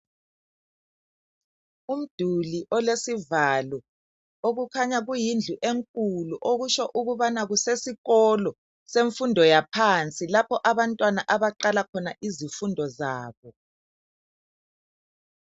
Umduli olesivalo okukhanya kuyindlu enkulu okusho ukubana kusesikolo semfundo yaphansi lapho abantwana abaqala khona izifundo zabo.